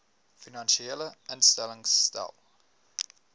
finansiële instellings stel